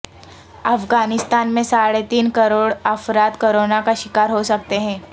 افغانستان میں ساڑھے تین کروڑ افراد کرونا کا شکار ہو سکتے ہیں